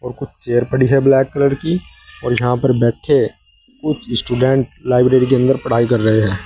और कुछ चेयर पड़ी है ब्लैक कलर की और यहां पर बैठे कुछ स्टूडेंट लाइब्रेरी के अंदर पढ़ाई कर रहे हैं।